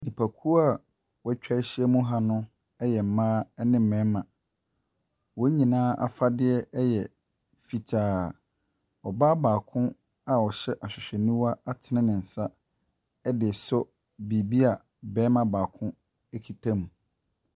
Nnipakuo a wɔatwa ahyiam ha no yɛ mmaa ne mmarima. Wɔn nyinaa afadeɛ yɛ fitaa. Ɔbaa baako a ɔhyɛ ahwehwɛniwa atene ne nsa de resɔ biribi a ɔbarima baako kuta mu.